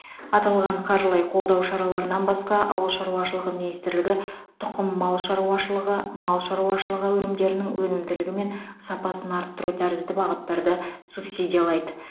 аталған қаржылай қолдау шараларынан басқа ауыл шаруашылығы министрлігі тұқым мал шаруашылығы мал шаруашылығы өнімдерінің өнімділігі мен сапасын арттыру тәрізді бағыттарды субсидиялайды